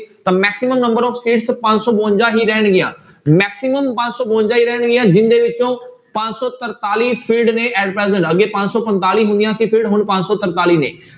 ਤਾਂ maximum number of seats ਪੰਜ ਸੌ ਬਵੰਜਾ ਹੀ ਰਹਿਣਗੀਆਂ maximum ਪੰਜ ਸੌ ਬਵੰਜਾ ਹੀ ਰਹਿਣਗੀਆਂ ਜਿਹਦੇ ਵਿੱਚੋਂ ਪੰਜ ਸੌ ਤਰਤਾਲੀ ਨੇ at present ਅੱਗੇ ਪੰਜ ਸੌ ਪੰਤਾਲੀ ਹੁੰਦੀਆਂ ਸੀ ਹੁਣ ਪੰਜ ਸੌ ਤਰਤਾਲੀ ਨੇ